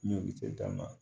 N y'olu tɛ dan na